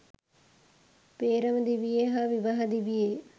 පේ්‍රම දිවියේ හා විවාහ දිවියේ